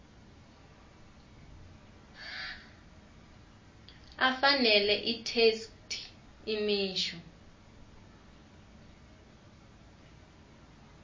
afanele itheksthi imisho